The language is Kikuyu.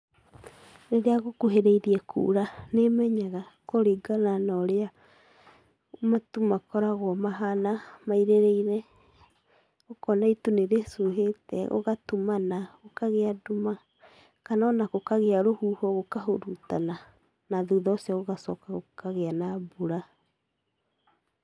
Rĩrĩa gũkuhĩrĩirie kuura, nĩ menyaga kũringana na ũrĩa matu makoragwo mahana mairĩrĩire, ũkona itu nĩ rĩcuhĩte, gũgatumana, gũkagĩa nduma, kana o na gũkagĩa rũhuho gũkahurutana na thutha ũcio gũgacoka gũkagĩa na mbura.